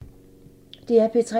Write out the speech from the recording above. DR P3